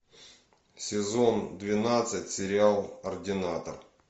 сезон двенадцать сериал ординатор